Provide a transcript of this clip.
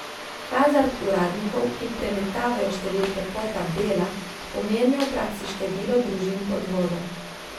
Hazard uradnikov, ki premetavajo številke po tabelah, pomenijo v praksi število družin pod vodo.